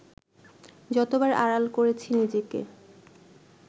যতবার আড়াল করেছি নিজেকে